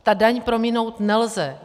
Tu daň prominout nelze.